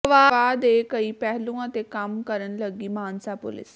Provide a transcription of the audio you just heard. ਅਗਵਾ ਦੇ ਕਈ ਪਹਿਲੂਆਂ ਤੇ ਕੰਮ ਕਰਨ ਲੱਗੀ ਮਾਨਸਾ ਪੁਲੀਸ